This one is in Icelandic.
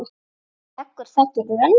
Veggur þakinn röndum.